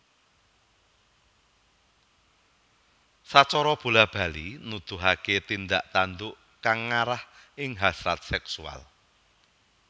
Sacara bola bali nuduhake tindak tanduk kang ngarah ing hasrat seksual